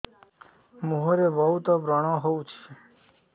ମୁଁହରେ ବହୁତ ବ୍ରଣ ହଉଛି